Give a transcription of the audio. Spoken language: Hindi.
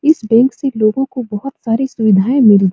इस बैंक से लोगों को बहुत सारी सुविधाएँ मिल --